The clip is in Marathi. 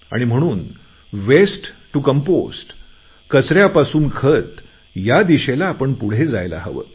आणि म्हणून वेस्ट टू कंपोस्ट कचऱ्यापासून खत या दिशेने आपण पुढे जायला हवे